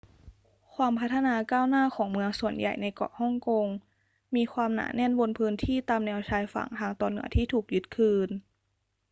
ความพัฒนาก้าวหน้าของเมืองส่วนใหญ่ในเกาะฮ่องกงมีความหนาแน่นบนพื้นที่ตามแนวชายฝั่งทางตอนเหนือที่ถูกยึดคืน